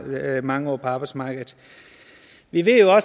været mange år på arbejdsmarkedet vi ved jo